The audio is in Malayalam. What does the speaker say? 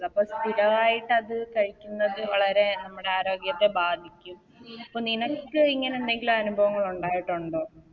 അപ്പൊ സ്ഥിരവായിട്ടത് കഴിക്കുന്നത് വളരെ നമ്മുടെ ആരോഗ്യത്തെ ബാധിക്കും പ്പോ നിനക്കു ഇങ്ങനെ നെതെങ്കിലും അനുഭവങ്ങൾ ഉണ്ടായിട്ടുണ്ടോ